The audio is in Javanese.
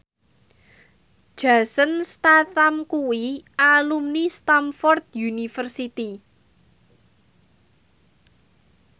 Jason Statham kuwi alumni Stamford University